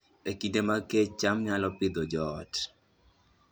E kinde mag kech, cham nyalo Pidhoo joot